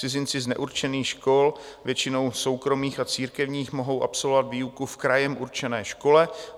Cizinci z neurčených škol, většinou soukromých a církevních, mohou absolvovat výuku v krajem určené škole.